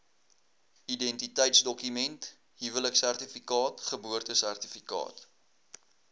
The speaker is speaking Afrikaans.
identiteitsdokument huweliksertifikaat geboortesertifikaat